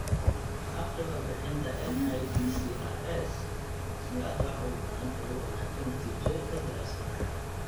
Akhri warbixinta NIDCRs si aad wax badan uga ogaato natiijooyinka daraasadaha.